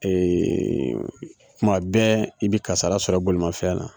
kuma bɛɛ i bɛ kasara sɔrɔ bolimafɛn na